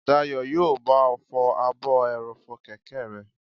Dayọ̀ yóò bá ọ fọ ààbò ẹrọ̀fọ̀ kẹ̀kẹ́ rẹ